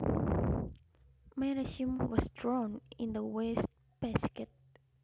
My resume was thrown in the waste basket